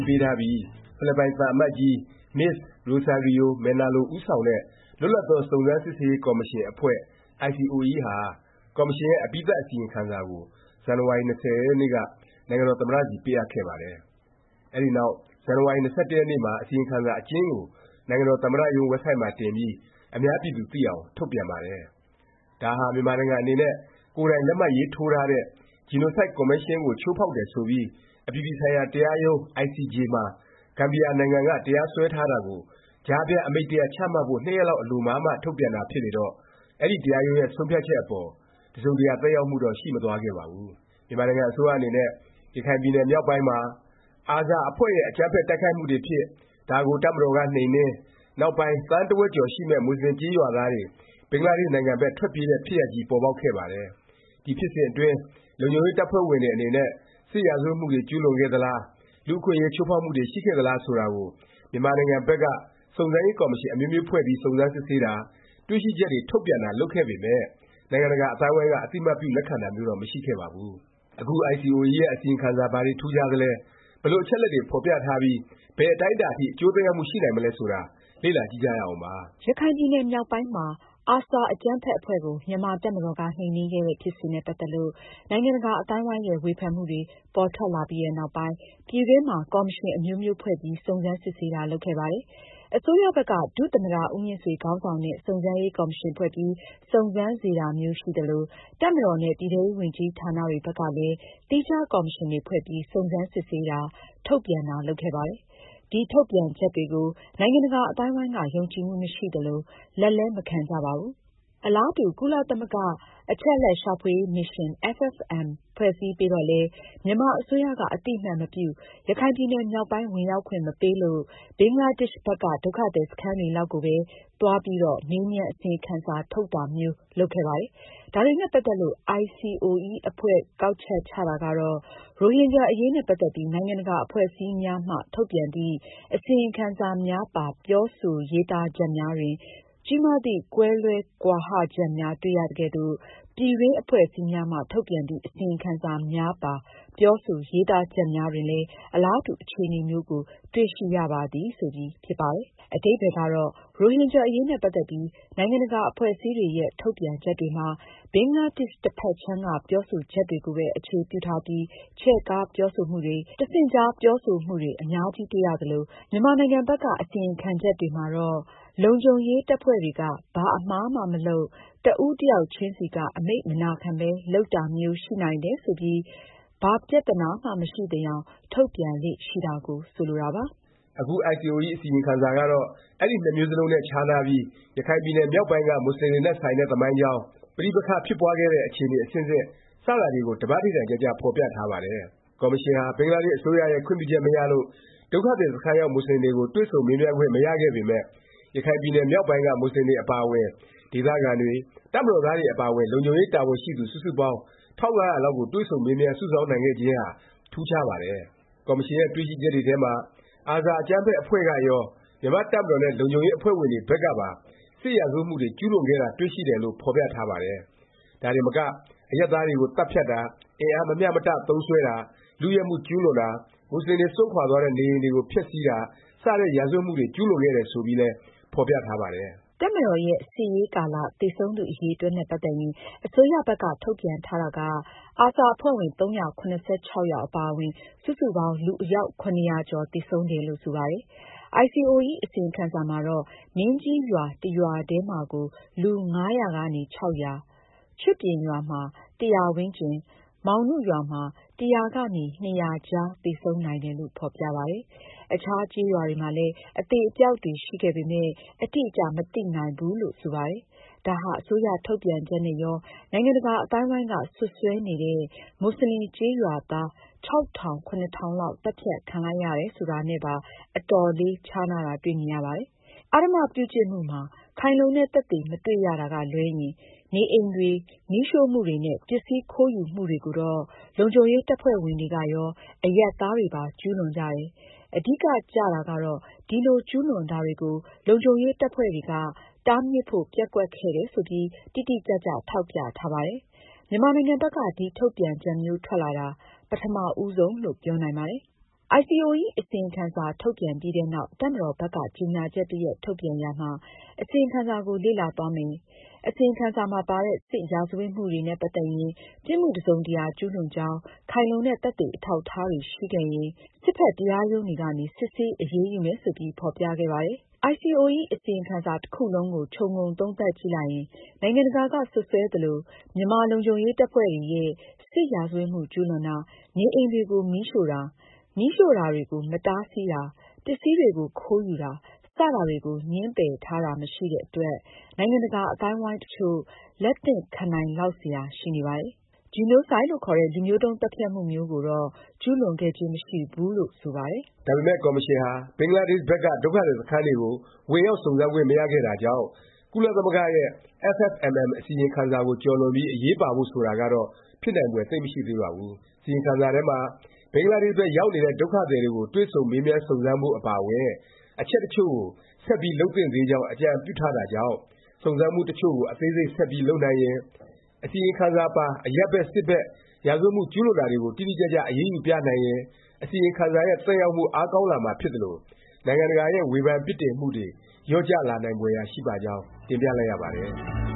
းပေးထားပြီး ဖိလစ်ပိုင် သံအမတ်ကြီး မစ္စ ရိုဆာရီယို မယ်နာလို ဦးဆောင်တဲ့ လွတ်လပ်သော စုံစမ်းစစ်ဆေးရေး ကော်မရှင်အဖွဲ့ ICOE ဟာ ကော်မရှင်ရဲ့ အပြီးသတ် အစီရင်ခံစာကို ဇန်နဝါရီ ၂၀ ရက်နေ့က နိုင်ငံတော် သမ္မတဆီ ပေးအပ်ပါတယ်။ အဲနောက် ဇန်နဝါရီ ၂၁ ရက်နေ့မှာ အစီရင်ခံစာ အကျဉ်းကို နိုင်ငံတော် သမ္မတရုံး ဝက်ဘ်ဆိုက်မှာ တင်ပြီး အများပြည်သူ သိအောင် ထုတ်ပြန်ပါတယ်။ ဒါဟာ မြန်မာနိုင်ငံအနေနဲ့ ကိုယ်တိုင် လက်မှတ်ရေးထိုးထားတဲ့ ဂျီနိုဆိုက် ကွန်ဗင်းရှင်းကို ချိုးဖေါက်တယ် ဆိုပြီး အပြည်ပြည်ဆိုင်ရာ တရားရုံး ICJ မှာ ဂမ်ဘီယာနိုင်ငံက တရားစွဲထားတာကို ကြားဖြတ်အမိန့် တစ်ရပ် ချမှတ်ဖို့ ၂ ရက်လောက် အလိုမှာမှ ထုတ်ပြန်တာ ဖြစ်လေတော့ အဲဒီ တရားရုံးရဲ့ ဆုံးဖြတ်ချက်အပေါ် တစ်စုံတစ်ရာ သက်ရောက်မှုတော့ ရှိမသွားခဲ့ပါဘူး။ မြန်မာနိုင်ငံ အစိုးရ အနေနဲ့ ရခိုင်ပြည်နယ် မြောက်ပိုင်းမှာ ARSA အဖွဲ့ရဲ့ အကြမ်းဖက် တိုက်ခိုက်မှုတွေဖြစ်၊ ဒါကို တပ်မတော်က နှိမ်နင်း၊ နောက်ပိုင်း သန်းတစ်ဝက်ကျော် ရှိမယ့် မူဆလင်ကျေးရွာသားတွေ ဘင်္ဂလားဒေ့ရှ်နိုင်ငံဘက် ထွက်ပြေး တဲ့ ဖြစ်ရပ်ကြီး ပေါ်ပေါက်ခဲ့ပါတယ်။ ဒီ ဖြစ်စဉ်အတွင်း လုံခြုံရေး တပ်ဖွဲ့ဝင်တွေ အနေနဲ့ စစ်ရာဇဝတ်မှုတွေ ကျူးလွန်ခဲ့သလား၊ လူ့အခွင့်အရေး ချိုးဖေါက်မှုတွေ ရှိခဲ့သလား ဆိုတာကို မြန်မာနိုင်ငံဘက်က စုံစမ်းရေး ကော်မရှင် အမျိုးမျိုးဖွဲ့ပြီး စုံစမ်းစစ်ဆေးတာ၊ တွေ့ရှိချက်တွေ ထုတ်ပြန်တာ လုပ်ခဲ့ပေမယ့် နိုင်ငံတကာ အသိုင်းအဝိုင်းက အသိအမှတ်ပြု လက်ခံတာမျိုးတော့ မရှိခဲ့ပါဘူး။ အခု ICOE ရဲ့ အစီရင်ခံစာ ဘာတွေ ထူးခြားသလဲ၊ ဘယ်လို အချက်အလက်တွေ ဖော်ပြထားပြီး ဘယ်အတိုင်းအတာ အထိ အကျိုးသက်ရောက်မှု ရှိနိုင်မလဲ ဆိုတာ လေ့လာကြည့်ကြရအောင်ပါ။ ရခိုင်ပြည်နယ် မြောက်ပိုင်းမှာ ARSA အကြမ်းဖက် အဖွဲ့ကို မြန်မာ့တပ်မတော်က နှိမ်နင်းခဲ့တဲ့ ဖြစ်စဉ်နဲ့ ပတ်သက်လို့ နိုင်ငံတကာ အသိုင်းအဝိုင်းရဲ့ ဝေဖန်မှုတွေ ပေါ်ထွက်လာပြီးနောက်ပိုင်း ပြည်တွင်းမှာ ကော်မရှင်အမျိုးမျိုး ဖွဲ့ပြီး စုံစမ်းစစ်ဆေးတာ လုပ်ခဲ့ပါတယ်။ အစိုးရဘက်က ဒုသမ္မတ ဦးမြင့်ဆွေ ခေါင်းဆောင်တဲ့ စုံစမ်းရေး ကော်မရှင် ဖွဲ့ပြီး စုံစမ်းစေတာမျိုး ရှိသလို၊ တပ်မတော်နဲ့ ပြည်ထဲရေးဝန်ကြီးဌာနတွေ ဘက်ကလည်း သီးခြား ကော်မရှင်တွေ ဖွဲ့ပြီး စုံစမ်းစစ်ဆေးတာ ထုတ်ပြန်တာ လုပ်ခဲ့ပါတယ်။ ဒီ ထုတ်ပြန်ချက်တွေကို နိုင်ငံတကာ အသိုင်းအဝိုင်းက ယုံကြည်မှု မရှိသလို၊ လက်လည်း မခံကြပါဘူး။ အလားတူ ကုလသမဂ္ဂ အချက်အလက်ရှာဖွေရေး မစ်ရှင် FFMM ဖွဲ့စည်းပေးတော့လည်း မြန်မာအစိုးရက အသိအမှတ်မပြု၊ ရခိုင်ပြည်နယ်မြောက်ပိုင်း ဝင်ရောက်ခွင့် မပေးလို့ ဘင်္ဂလားဒေ့ရှ်ဘက်က ဒုက္ခသည် စခန်းတွေလောက်ကိုပဲ သွားပြီး မေးမြန်း အစီရင်ခံစာ ထုတ်တာမျိုး လုပ်ခဲ့ပါတယ်။ ဒါတွေနဲ့ ပတ်သက်ပြီး ICOE အဖွဲ့ ကောက်ချက်ချတာကတော့ “ ရိုဟင်ဂျာ အရေးနဲ့ ပတ်သက်ပြီး နိုင်ငံတကာအဖွဲ့အစည်းများမှ ထုတ်ပြန်သည့် အစီရင်ခံစာများပါ ပြောဆို ရေးသားချက်များတွင် ကြီးမားသည့် ကွဲလွဲကွာဟချက်များတေ့ွရသကဲ့သို့၊ပြည်တွင်းအဖွဲ့အစည်းများမှ ထုတ်ပြန်သည့် အစီရင်ခံစာများပါ ပြောဆို ရေးသားချက်များတွင်လည်း အလားတူအခြေအနေများကို တေ့ွရှိရပါသည်။” ဆိုပြီး ဖြစ်ပါတယ်။ အဓိပ္ပါယ်ကတော့ ရိုဟင်ဂျာ အရေးနဲ့ ပတ်သက်ပြီး နိုင်ငံတကာ အဖွဲ့အစည်းတွေရဲ့ ထုတ်ပြန်ချက်တွေမှာ ဘင်္ဂလားဒေ့ရှ် တစ်ဖက်ခြမ်းက ပြောဆိုချက်တွေကိုပဲ အခြေပြုထားပြီး ချဲ့ကားပြောဆိုမှုတွေ၊ တဆင့်ကြား ပြောဆိုမှုတွေ အများကြီး တွေ့ရသလို၊ မြန်မာနိုင်ငံဘက်က အစီရင်ခံချက်တွေမှာတော့ လုံခြုံရေးတပ်ဖွဲ့တွေက ဘာ အမှားမှ မလုပ်၊ တစ်ဦးတစ်ယောက်ချင်းစီက အမိန့်မနာခံပဲ လုပ်တာမျိုး ရှိနိုင်တယ် ဆိုပြီး ဘာ ပြသနာမှ မရှိသယောင် ထုတ်ပြန်လေ့ရှိတာကို ဆိုလိုတာပါ။ အခု ICOE အစီရင်ခံစာကတော့ အဲဒီ နှစ်မျိုးစလုံးနဲ့ ခြားနားပြီး ရခိုင်ပြည်နယ် မြောက်ပိုင်းက မူဆလင်တွေနဲ့ ဆိုင်တဲ့ သမိုင်းကြောင်း၊ ပဋိပက္ခ ဖြစ်ပွားခဲ့တဲ့ အခြေအနေ အဆင့်ဆင့် စတာတွေကို ဓမ္မဌိဌာန်ကျကျ ဖော်ပြထားပါတယ်။ ကော်မရှင်ဟာ ဘင်္ဂလားဒေ့ရှ် အစိုးရရဲ့ ခွင့်ပြုချက် မရလို့ ဒုက္ခသည်စခန်းရောက် မူဆလင်တွေကို တွေ့ဆုံမေးမြန်းခွင့် မရခဲ့ပေမယ့် ရခိုင်ပြည်နယ်မြောက်ပိုင်းက မူဆလင် အပါအဝင် ဒေသခံတွေ၊ တပ်မတော်သားတွေ အပါအဝင် လုံခြုံရေး တာဝန်ရှိသူ စုစုပေါင်း ၁၅၀၀ လောက်ကို တွေ့ဆုံမေးမြန်း စုဆောင်းနိုင်ခဲ့ခြင်းဟာ ထူးခြားပါတယ်။ ကော်မရှင်ရဲ့ တွေ့ရှိချက်တွေထဲမှာ ARSA အကြမ်းဖက် အဖွဲ့ကရော၊ မြန်မာ့တပ်မတော်နဲ့ လုံခြုံရေး အဖွဲ့ဝင်တွေဘက်ကပါ စစ်ရာဇဝတ်မှုတွေ ကျူးလွန်ခဲ့တာ တွေ့ရှိတယ်လို့ ဖော်ပြထားပါတယ်။ ဒါတင်မက အရပ်သားတွေကို သတ်ဖြတ်တာ၊ အင်အား မမျှမတ သုံးစွဲတာ၊ လုယက်မှု ကျူးလွန်တာ၊ မူဆလင်တွေ စွန့်ခွာသွားတဲ့ နေအိမ်တွေကို ဖျက်ဆီးတာ စတဲ့ ရာဇဝတ်မှုတွေ ကျူးလွန်ခဲ့တယ် ဆိုပြီးလည်း ဖော်ပြထားပါတယ်။ တပ်မတော်ရဲ့ စစ်ဆင်ရေးကာလ သေဆုံးသူ အရည်အတွက်နဲ့ ပတ်သက်ရင် အစိုးရဘက်က ထုတ်ပြန်ထားတာကARSA အဖွဲ့ဝင် ၃၇၆ ယောက် အပါအဝင် စုစုပေါင်း လူအယောက် ၇၀၀ ကျော် သေဆုံးတယ်လို့ ဆိုပါတယ်။ ICOE အစီရင်ခံစာမှာတော့ မင်းကြီးရွာ တစ်ရွာထဲမှာကို လူ ၅၀၀ ကနေ ၆၀၀၊ ချွတ်ပြင်ရွာမှာ ၁၀၀ ဝန်းကျင်၊ မောင်နုရွာမှာ ၁၀၀ ကနေ ၂၀၀ ကြားသေဆုံးနိုင်တယ်လို့ ဖော်ပြပါတယ်။ အခြားကျေးရွာတွေမှာလည်း အသေအပျောက်တွေ ရှိခဲ့ပေမယ့် အတိအကျ မသိနိုင်ဘူးလို့ ဆိုပါတယ်။ ဒါဟာ အစိုးရ ထုတ်ပြန်ချက်နဲ့ရော နိုင်ငံတကာ အသိုင်းအဝိုင်းက စွပ်စွဲနေတဲ့ မူဆလင်ကျေးရွာသား ၆၀၀၀- ၇၀၀၀ လောက် သတ်ဖြတ်ခံလိုက်ရတယ် ဆိုတာနဲ့ပါ အတော်လေး ခြားနားတာ တွေ့မြင်ရပါတယ်။ အားဓမ္မပြုကျင့်မှုမှာ ခိုင်လုံတဲ့ သက်သေ မတွေ့ရတာကလွဲရင် နေအိမ်တွေ မီးရှို့မှုတွေနဲ့ ပစ္စည်းခိုးယူမှုတွေကိုတော့ လုံခြုံရေး တပ်ဖွဲ့ဝင်တွေကရော၊ အရပ်သားတွေပါ ကျူးလွန်ကြတယ်၊ အဓိကကျတာကတော့ ဒီလို ကျူးလွန်တာတွေကို လုံခြုံရေး တပ်ဖွဲ့တွေက တားမြစ်ဖို့ ပျက်ကွက်ခဲ့တယ်ဆိုပြီး တိတိကျကျ ထောက်ပြထားပါတယ်။ မြန်မာနိုင်ငံဘက်က ဒီ ထုတ်ပြန်ချက်မျိုးထွက်လာတာ ဒါ ပထမဦးဆုံးလို့ ပြောနိုင်ပါတယ်။ ICOE အစီရင်ခံစာ ထုတ်ပြန်ပြီးနောက် တပ်မတော်ဘက်က ကြေငြာချက် တစ်ရပ် ထုတ်ပြန်ရာမှာ အစီရင်ခံစာကို လေ့လာသွားမယ်၊ အစီရင်ခံစာမှာ ပါတဲ့ စစ်ရာဇဝတ်မှုတွေနဲ့ ပတ်သက်ရင် “ ပြစ်မှု တစ်စုံတစ်ရာ ကျူးလွန်ကြောင်း ခိုင်လုံတဲ့ သက်သေ အထောက်အထား တွေ့ရှိခဲ့ရင် စစ်ဘက် တရားရုံးတွေကနေ စစ်ဆေး အရေးယူမယ်” ဆိုပြီး ဖော်ပြခဲ့ပါတယ်။ ICOE အစီရင်ခံစာ တစ်ခုလုံးကို ခြုံငုံသုံးသပ်ကြည့်လိုက်ရင် နိုင်ငံတကာက စွပ်စွဲသလို မြန်မာ့လုံခြုံရေး တပ်ဖွဲ့တွေရဲ့ စစ်ရာဇဝတ်မှု ကျူးလွန်တာ၊ နေအိမ်တွေကို မီးရှို့တာ၊ မီးရှို့တာတွေကို မတားဆီးတာ၊ ပစ္စည်းတွေကို ခိုးယူတာ စတာတွေကို ငြင်းပယ်ထားတာ မရှိတဲ့အတွက် နိုင်ငံတကာ အသိုင်းအဝိုင်း တစ်ချို့ လက်သင့်ခံနိုင်လောက်စရာ ရှိနေပါတယ်။ ဂျီနိုဆိုက်လို့ ခေါ်တဲ့ လူမျိုးတုန်း သတ်ဖြတ်မှု မျိုးကိုတော့ ကျူးလွန်ခဲ့ခြင်း မရှိဘူး လို့တော့ ဆိုပါတယ်။ ဒါပေမယ့် ကော်မရှင်ဟာ ဘင်္ဂလားဒေ့ရှ်ဘက်က ဒုက္ခသည် စခန်းတွေကို ဝင်ရောက် စုံစမ်းခွင့် မရခဲ့တာကြောင့် ကုလသမဂ္ဂရဲ့ FFMM အစီရင်ခံစာကို ကျော်လွန်ပြီး အရေးပါဖို့ ဆိုတာကတော့ ဖြစ်နိုင်ဖွယ် သိပ်မရှိသေးပါဘူး။ အစီရင်ခံစာထဲမှာ ဘင်္ဂလားဒေ့ရှ် ဘက်ရောက်နေတဲ့ ဒုက္ခသည်တွေကို တွေ့ဆုံ မေးမြန်း စုံစမ်းဖို့ အပါအဝင် အချက်တစ်ချို့ကို ဆက်ပြီး လုပ်သင့်သေးကြောင်း အကြံပြုထားတာကြောင့် စုံစမ်းမှု တစ်ချို့ကို အသေးစိတ် ဆက်ပြီး လုပ်နိုင်ရင်၊ အစီရင်ခံစာပါ အရပ်ဘက် စစ်ဘက် ရာဇဝတ်မှု ကျူးလွန်တာတွေကို တိတိကျကျ အရေးယူပြနိုင်ရင် အစီရင်ခံစာရဲ့ သက်ရောက်မှု အားကောင်းလာမှာ ဖြစ်သလို၊ နိုင်ငံတကာရဲ့ ဝေဖန်ပြစ်တင်မှုတွေ လျော့ကျလာနိုင်ဖွယ်ရာ ရှိပါကြောင်း တင်ပြလိုက်ရပါတယ်